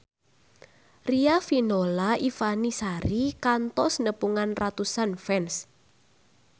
Riafinola Ifani Sari kantos nepungan ratusan fans